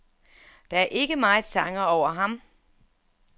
Der er ikke meget sanger over ham.